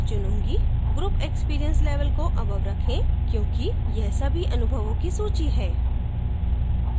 group experience level को above रखें क्योंकि यह सभी अनुभवों की सूची है